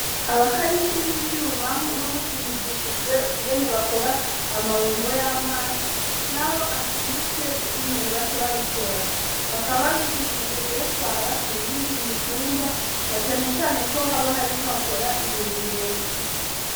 Abakaninshi b'ivyumah no musi bigishijwe kungene bakora amabombo y'amazi, naho acitse ukungene baca babikora bakaba bigishijwe kuyatwara mu yindi mitumba na canecane ko haba hoariko hakora imiringoti.